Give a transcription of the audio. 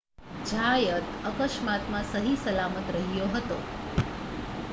ઝાયત અકસ્માતમાં સહીસલામત રહ્યો હતો